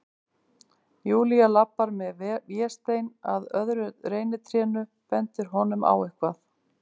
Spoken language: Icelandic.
Júlía labbar með Véstein að öðru reynitrénu, bendir honum á eitthvað.